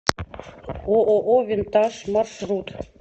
ооо винтаж маршрут